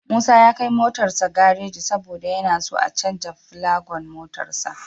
Musa ya kai motarsa gareji saboda yana so a canja filogan motarsa.